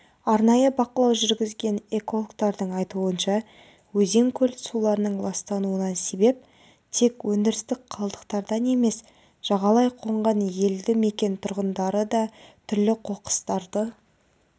арнайы бақылау жүргізген экологтардың айтуынша өзен-көл суларының ластануына себеп тек өндірістік қалдықтардан емес жағалай қонған елді мекен тұрғындары да түрлі қоқыстарды